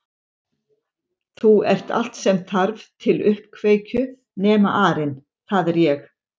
Þú ert allt sem þarf til uppkveikju nema arinn það er ég